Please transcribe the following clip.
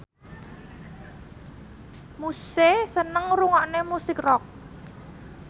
Muse seneng ngrungokne musik rock